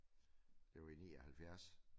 Det var i 79